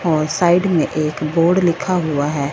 और साइड में एक बोर्ड लिखा हुआ है।